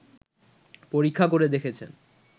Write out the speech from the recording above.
পরীক্ষা করে দেখেছেন